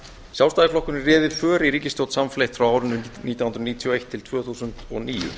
sjálfstæðisflokkurinn réði för í ríkisstjórn samfleytt frá árinu nítján hundruð níutíu og eitt til tvö þúsund og níu